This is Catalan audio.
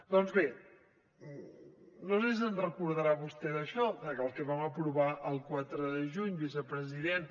doncs bé no sé si se’n deu recordar vostè d’això del que vam aprovar el quatre de juny vicepresident